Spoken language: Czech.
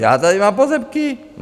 Já tady mám pozemky.